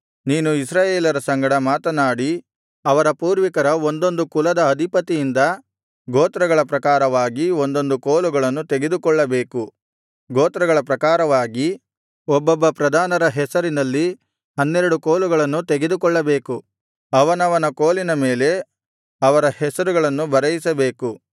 ನೀನು ಇಸ್ರಾಯೇಲರ ಸಂಗಡ ಮಾತನಾಡಿ ಅವರ ಪೂರ್ವಿಕರ ಒಂದೊಂದು ಕಾಲದ ಅಧಿಪತಿಯಿಂದ ಗೋತ್ರಗಳ ಪ್ರಕಾರವಾಗಿ ಒಂದೊಂದು ಕೋಲುಗಳನ್ನು ತೆಗೆದುಕೊಳ್ಳಬೇಕು ಗೋತ್ರಗಳ ಪ್ರಕಾರವಾಗಿ ಒಬ್ಬೊಬ್ಬ ಪ್ರಧಾನರ ಹೆಸರಿನಲ್ಲಿ ಹನ್ನೆರಡು ಕೋಲುಗಳನ್ನು ತೆಗೆದುಕೊಳ್ಳಬೇಕು ಅವನವನ ಕೋಲಿನ ಮೇಲೆ ಅವರ ಹೆಸರನ್ನು ಬರೆಯಿಸಬೇಕು